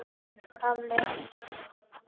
Gemsinn bjargar mér.